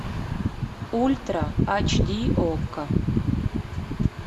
ультра ач ди окко